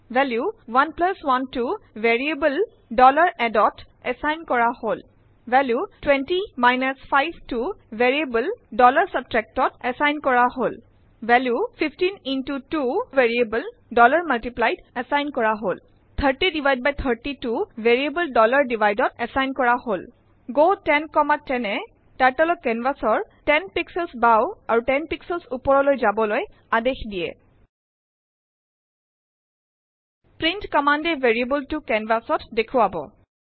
Value 11টো variable add ত assign কৰা হল । ভেলিউ 20 5টো ভেৰিয়েবল subtract ত এছাইন কৰা হল । ভেলিউ 15 2টো ভেৰিয়েবল multiply ত এছাইন কৰা হল । 3030টো ভেৰিয়েবল divide ত এছাইন কৰা হল গ 1010এ Turtleক কেনভাচ ৰ 10 পিক্সেলছ বাও আৰু 10 পিক্সেলছ ওপৰলৈ যাবলৈ আদেশ দিয়ে প্ৰিণ্ট কম্মান্দ এ ভেৰিয়েবল টো কেনভাচ ত দেখুৱাব